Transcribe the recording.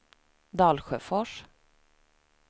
Dalsjöfors